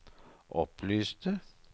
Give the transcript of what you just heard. opplyste